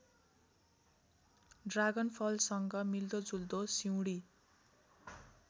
ड्रागनफलसँग मिल्दोजुल्दो सिउँडी